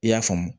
I y'a faamu